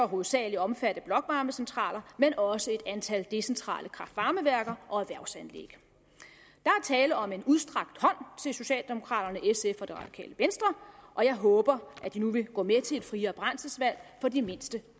hovedsagelig omfatte blokvarmecentraler men også et antal decentrale kraft varme værker og erhvervsanlæg er tale om en udstrakt hånd til socialdemokraterne sf og det radikale venstre og jeg håber at de nu vil gå med til et friere brændselsvalg for de mindste